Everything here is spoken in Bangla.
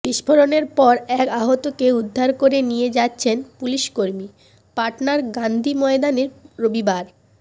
বিস্ফোরণের পর এক আহতকে উদ্ধার করে নিয়ে যাচ্ছেন পুলিশকর্মী পাটনার গান্ধী ময়দানে রবিবার